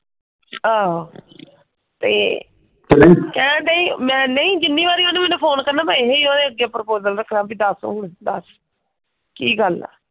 ਆਹੋ। ਤੇ ਕਹਿਣ ਡਈ ਮੈਂ ਨਹੀਂ ਜਿੰਨੀ ਵਾਰੀ ਉਹਨੇ ਮੈਨੂੰ ਫੋਨ ਕਰਨਾ ਮੈਂ ਇਹੀ ਉਹਦੇ ਅੱਗੇ ਪ੍ਰੋਪੋਸਲ ਰੱਖਣਾ ਕਿ ਦੱਸ ਹੁਣ ਦੱਸ ਕਿ ਗੱਲ ਆ?